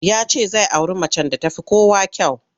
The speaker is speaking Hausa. Ya ce zai auri macen da ta fi kowa kyau.